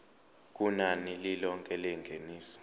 kunani lilonke lengeniso